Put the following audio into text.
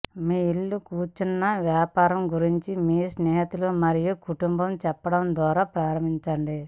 మీ ఇల్లు కూర్చున్న వ్యాపారం గురించి మీ స్నేహితులు మరియు కుటుంబం చెప్పడం ద్వారా ప్రారంభించండి